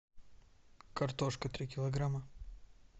картошка три килограмма